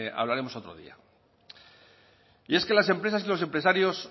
hablaremos otro día y es que las empresas y los empresarios